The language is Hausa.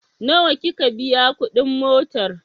Nawa kika biya kuɗin motar?